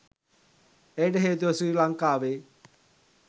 එයට හේතුව ශ්‍රී ලංකාවේ